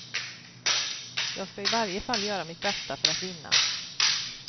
Jag ska i varje fall göra mitt bästa för att vinna.